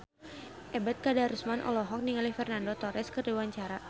Ebet Kadarusman olohok ningali Fernando Torres keur diwawancara